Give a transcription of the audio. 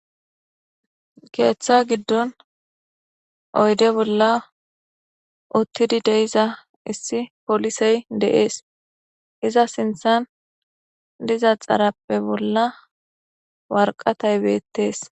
keeththa giddon oyde bolla uttidi deiza issi polisey deees iza sinthan diza xarappe bolla warqatay beettees